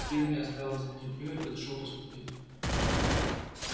генри оставил стряпню и подошёл посмотреть